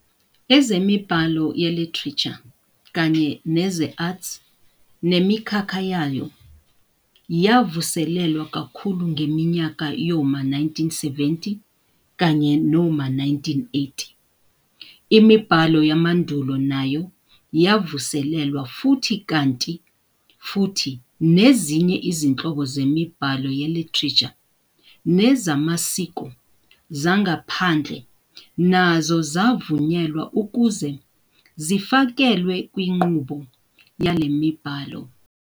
Ezemibhalo ye-Literature kanye neze-arts le mikhakha nayo yavuselelwa kakhulu ngeminyaka yoma 1970 kanye noma 1980. Imibhalo yamandulo nayo yavuselelwa futhi kanti futhi nezinye izinhlobo zemibhalo ye-literature nezamasiko, zangaphandle, nazo zavunyelwa ukuze zifakelwe kwinqubo yale mibhalo.